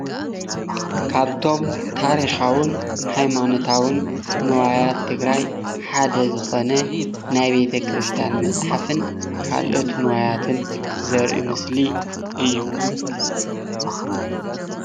ካብቶም ታሪካውን ሃይማኖታውን ንዋያት ትግራይ ሓደ ዝኾነ ናይ ቤተ ክርስትያን መጽሓፍን ካልኦት ንዋያትን ዘርኢ ምስሊ እዩ።